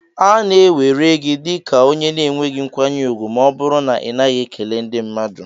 A na-ewere gị dị ka onye na-enweghị nkwanye ùgwù ma ọ bụrụ na ị naghị ekele ndi mmadu.